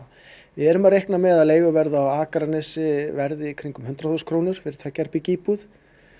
við erum að reikna með að leiguverð á Akranesi verði í kringum hundrað þúsund krónur fyrir tveggja herbergja íbúð